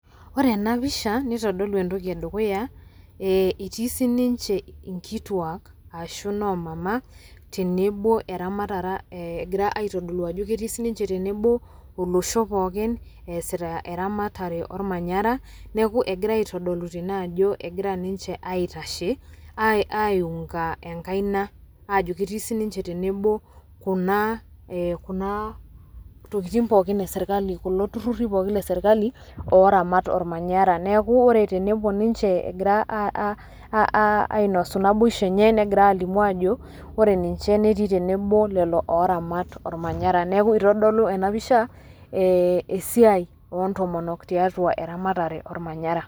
Ore ena pisha nitodolu entoki e dukuya eeh, etii siininche inkituak ashu noo mama tenebo eramatara egira aitodolu ajo keti sininche tenebo olosho easita eramatare ormanyara, neeku egira aitodolu tene ajo egira ninche aitashe ai aiung'a enkaina ajo ketii sininche tenebo kuna ee kuna tokitin pookin e serkali kulo turruri pookin le sirkali ooramat ormanyara. Neeku ore tenepuo ninche egira ainosu naboishu enye negira aalimu aajo ore ninche netii tenebo o lelo ooramat ormanyara. Neeku itodolu ena pisha esiai oo ntomonok tiatua eramatare ormanyara.